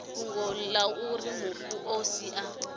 fhungo auri mufu o sia